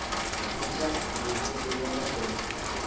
ntla ngobuso bamadoda